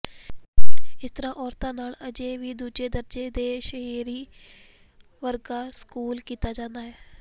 ਇਸ ਤਰ੍ਹਾਂ ਔਰਤਾਂ ਨਾਲ ਅਜੇ ਵੀ ਦੂਜੇ ਦਰਜੇ ਦੇ ਸ਼ਹਿਰੀ ਵਰਗਾ ਸਲੂਕ ਕੀਤਾ ਜਾਂਦਾ ਹੈ